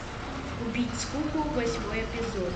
убить скуку восьмой эпизод